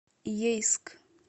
ейск